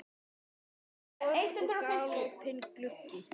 Það er vor og galopinn gluggi.